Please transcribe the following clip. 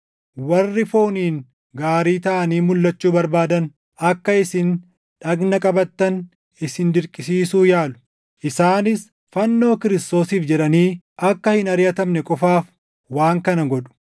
Warri fooniin gaarii taʼanii mulʼachuu barbaadan akka isin dhagna qabattan isin dirqisiisuu yaalu. Isaanis fannoo Kiristoosiif jedhanii akka hin ariʼatamne qofaaf waan kana godhu.